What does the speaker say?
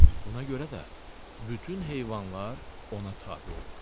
Buna görə də bütün heyvanlar ona tabe olur.